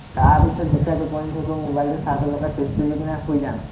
তাৰপিচত যেতিয়া টোপনি ধৰিব, মোবাইলটো charge ত লগাই চুইচটো দি পিনে শুই যাম